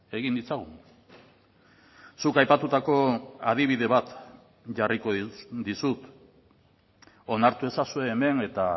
egin ditzagun zuk aipatutako adibide bat jarriko dizut onartu ezazue hemen eta